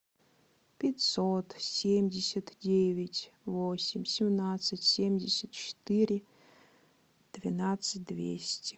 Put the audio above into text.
пятьсот семьдесят девять восемь семнадцать семьдесят четыре двенадцать двести